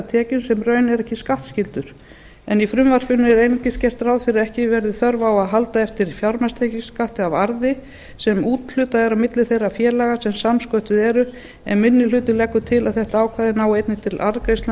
tekjum sem í raun eru ekki skattskyldar í frumvarpinu er einungis gert ráð fyrir að ekki verði þörf á að halda eftir fjármagnstekjuskatti af arði sem úthlutað er milli þeirra félaga sem samsköttuð eru en minni hlutinn leggur til að þetta ákvæði nái einnig til arðgreiðslna